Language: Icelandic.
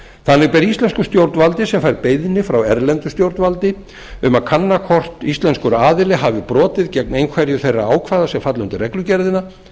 þannig ber íslensku stjórnvaldisem fær beiðni frá erlendu stjórnvaldi um að kanna hvort íslenskur aðili hafi brotið gegn einhverju þeirra ákvæða sem falla undir reglugerðina